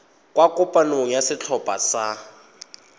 kwa kopanong ya setlhopha sa